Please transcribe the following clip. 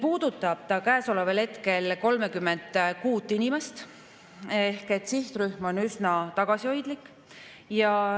Puudutab see hetkel 36 inimest ehk sihtrühm on üsna tagasihoidlik.